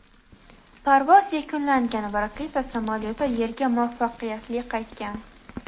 parvoz yakunlangan va raketa samolyoti Yerga muvaffaqiyatli qaytgan.